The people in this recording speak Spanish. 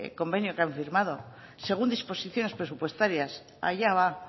convenio que han firmado según disposiciones presupuestarias allá va